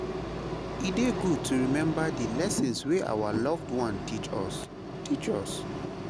E dey good to remember the lessons wey our loved ones teach us teach us.